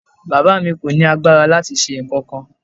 Bàbá mi kò ní agbára láti ṣe nǹkankan.